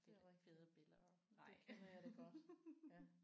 Det er rigtigt. Det kender jeg det godt ja